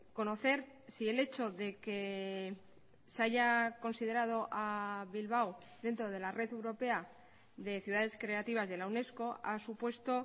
conocer si el hecho de que se haya considerado a bilbao dentro de la red europea de ciudades creativas de la unesco ha supuesto